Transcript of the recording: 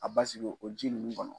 A basiki o ji nunnu kɔnɔ.